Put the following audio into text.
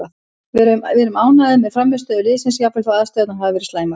Við erum ánægðir með frammistöðu liðsins jafnvel þó aðstæðurnar hafi verið slæmar,